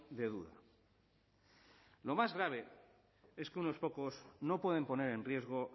de duda lo más grave es que unos pocos no pueden poner en riesgo